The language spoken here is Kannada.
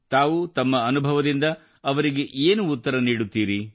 ತಾವು ತಮ್ಮ ಅನುಭವದಿಂದ ಅವರಿಗೆ ಏನು ಉತ್ತರ ನೀಡುತ್ತೀರಿ